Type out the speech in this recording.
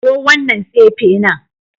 Kawo wannan tsefe nan